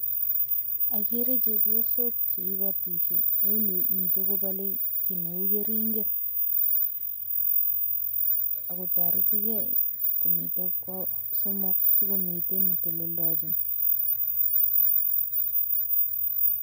Ogere chepyosok che ibotishe en yu, miten kobole kit neu keringet. Agotoretige komiten ko somok si komiten ne telelndochin .